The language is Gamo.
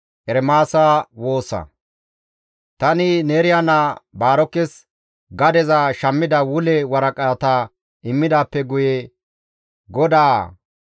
Tani Neeriya naa Baarokes gadeza shammida wule waraqata immidaappe guye GODAA,